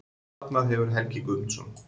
Safnað hefur Helgi Guðmundsson.